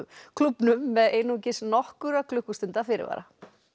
klúbbnum með einungis nokkurra klukkustunda fyrirvara